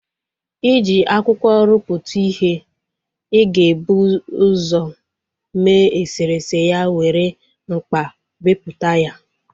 I ji akwụkwọ ruputu ihe, ị ga-ebu usọ mee eserese ya were mkpa beputa ya